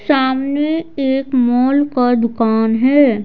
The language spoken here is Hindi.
सामने एक मॉल का दुकान है।